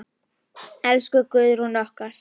Elsku Guðrún okkar.